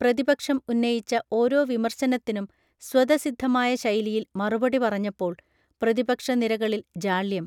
പ്രതിപക്ഷം ഉന്നയിച്ച ഓരോ വിമർശനത്തിനും സ്വതസിദ്ധമായ ശൈലിയിൽ മറുപടി പറഞ്ഞപ്പോൾ പ്രതിപക്ഷ നിരകളിൽ ജാള്യം